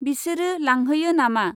बिसिरो लांहोयो नामा?